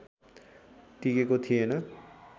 टिकेको थिएन